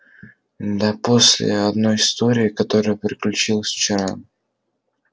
да после одной истории которая приключилась вчера